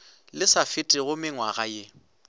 le sa fetego mengwaga ye